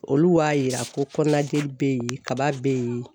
Olu b'a yira ko kɔnɔnajeli bɛ yen kaba bɛ yen.